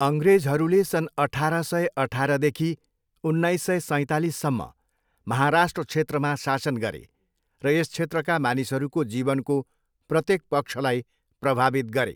अङ्ग्रेजहरूले सन् अठाह्र सय अठाह्रदेखि उन्नाइस सय सैतालिससम्म महाराष्ट्र क्षेत्रमा शासन गरे र यस क्षेत्रका मानिसहरूको जीवनको प्रत्येक पक्षलाई प्रभावित गरे।